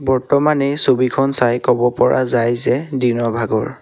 বৰ্তমান এই ছবিখন চাই কব পৰা যায় যে দিনৰ ভাগৰ।